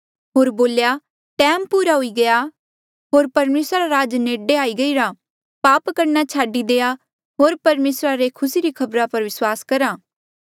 होर बोल्या टैम पूरा हुई गया होर परमेसरा रा राज नेडे आई गईरा पाप करणा छाडी देआ होर परमेसरा रे खुसी री खबरा पर विस्वास करा